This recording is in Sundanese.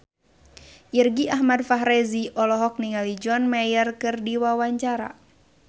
Irgi Ahmad Fahrezi olohok ningali John Mayer keur diwawancara